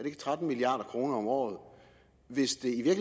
ikke tretten milliard kroner om året hvis det i